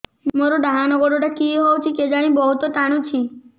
ମୋର୍ ଡାହାଣ୍ ଗୋଡ଼ଟା କି ହଉଚି କେଜାଣେ ବହୁତ୍ ଟାଣୁଛି